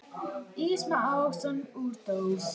Ís með ávöxtum úr dós.